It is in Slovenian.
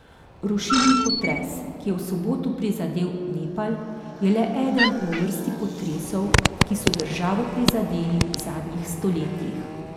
Rušilni potres, ki je v soboto prizadel Nepal, je le eden v vrsti potresov, ki so državo prizadeli v zadnjih stoletjih.